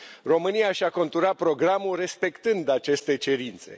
România și a conturat programul respectând aceste cerințe.